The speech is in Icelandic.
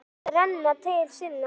Hún yrði fljót að renna til sinna.